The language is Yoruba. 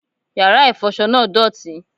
Yàrá ìfọṣọ náà dọ̀tí